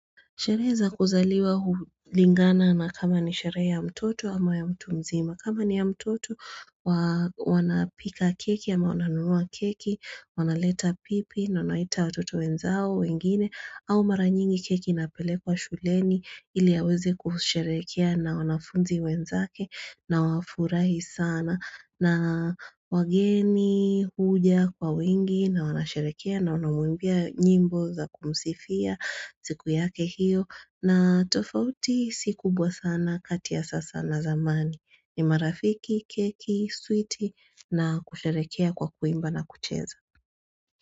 Sherehe za kuzaliwa hulingana na kama ni sherehe ya mtoto ama ya mtu mzima. Kama ni ya mtoto wanapika keki ama wananunua keki, wanaleta pipi na wanaita watoto wenzao wengine au mara nyingi keki inapelekwa shuleni ili aweze kusherehekea na wanafunzi wenzake na wafurahi sana na wageni huja kwa wengi na wanasherehekea na wanamuimbia nyimbo za kumsifia siku yake hiyo. Na tofauti si kubwa sana kati ya sasa na zamani. Ni marafiki, keki, sweet na kusherekea kwa kuimba na kucheza.